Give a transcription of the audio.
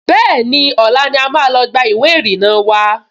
Bẹ́ẹ̀ni, ọ̀la ni a máa lọ gba ìwé ìrìnnà wa